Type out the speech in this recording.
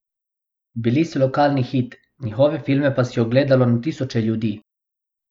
Bili so lokalni hit, njihove filme pa si je ogledalo na tisoče ljudi.